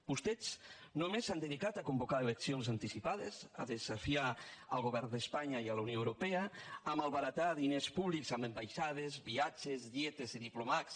vostès només s’han dedicat a convocar eleccions anticipades a desafiar el govern d’espanya i la unió europea a malbaratar diners públics en ambaixades viatges dietes i diplocats